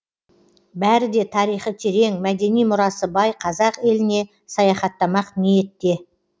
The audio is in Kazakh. бәрі де тарихы терең мәдени мұрасы бай қазақ еліне саяхаттамақ ниетте